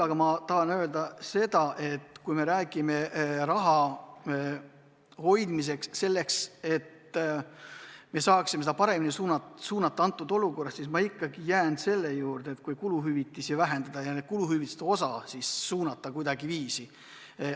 Aga ma tahan öelda seda, et kui me räägime raha hoidmisest selleks, et me saaksime seda praeguses olukorras paremasse kohta suunata, siis ma ikkagi jään selle juurde, et kuluhüvitisi võiks vähendada ja selle võrra rohkem raha suunata mujale.